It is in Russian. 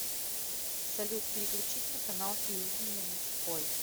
салют переключить на канал телевидения мужской